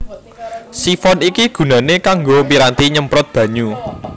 Sifon iki gunané kanggo piranti nyemprot banyu